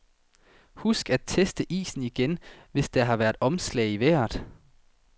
Husk at teste isen igen, hvis der har været omslag i vejret.